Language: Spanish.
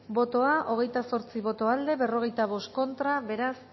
bozka hogeita zortzi boto aldekoa cuarenta y cinco contra beraz